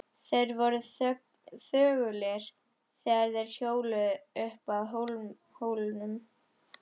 Þeir voru þögulir þegar þeir hjóluðu upp að hólnum.